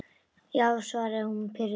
Já, svaraði hún pirruð.